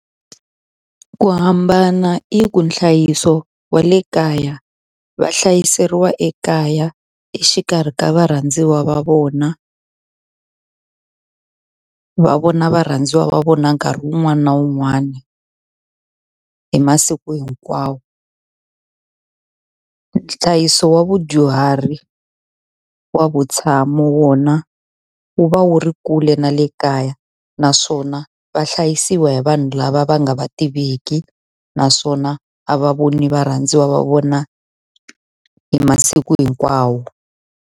Ku hambana i ku nhlayiso wa le kaya, va hlayiseriwa ekaya exikarhi ka varhandziwa va vona. Va vona varhandziwa va vona nkarhi wun'wani na wun'wani, hi masiku hinkwawo. Nhlayiso wa vudyuhari wa vutshamo wona wu va wu ri kule na le kaya, naswona va hlayisiwa hi vanhu lava va nga va tiveki. Naswona a va voni varhandziwa va vona hi masiku hinkwawo.